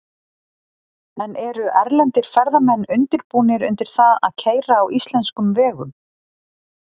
En eru erlendir ferðamenn undirbúnir undir það að keyra á íslenskum vegum?